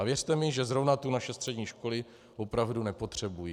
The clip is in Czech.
A věřte mi, že zrovna tu naše střední školy opravdu nepotřebují.